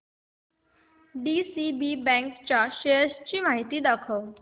DCB bank च्या shares ची माहिती दाखव